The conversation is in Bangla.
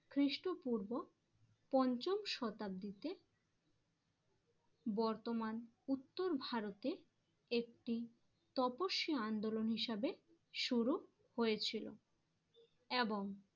খ্রিস্টপূর্ব পঞ্চম শতাব্দীতে বর্তমান উত্তর ভারতে একটি তপস্বী আন্দোলন হিসেবে শুরু হয়েছিল এবং